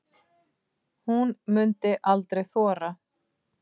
Hún mundi aldrei þora.